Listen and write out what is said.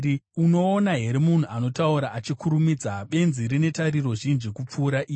Unoona here munhu anotaura achikurumidza? Benzi rine tariro zhinji kupfuura iye.